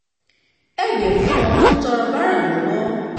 ẹ yéé fún àwọn tó ń tọrọ báárà lọ́wọ́